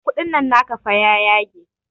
Kuɗin nan naka fa ya yage